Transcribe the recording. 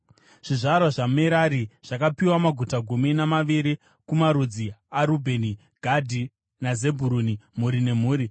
Zvizvarwa zvaMerari zvakapiwa maguta gumi namaviri kumarudzi aRubheni, Gadhi naZebhuruni, mhuri nemhuri.